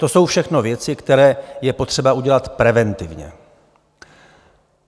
To jsou všechno věci, které je potřeba udělat preventivně.